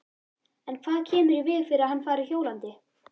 En hvað kemur í veg fyrir að hann fari hjólandi?